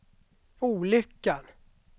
olyckan